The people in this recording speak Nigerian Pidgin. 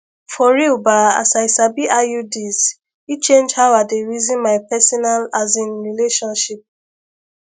for real ba as i sabi iuds e change how i dey reason my personal asin relationship